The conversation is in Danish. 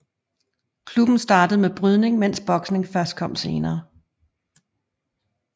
Klubben startede med brydning mens boksning først kom senere